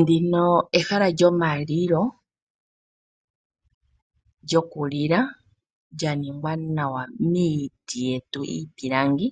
Ndino ehala lyomalilo lyokulila lya ningwa nawa miiti yetu iipilangi